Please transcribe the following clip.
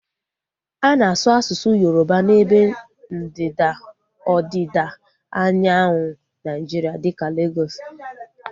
A na-asu asụsụ Yoroba n'ebe ndịda ọdịda anyanwụ Naijiria dịka Legọs